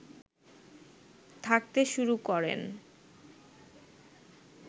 থাকতে শুরু করেন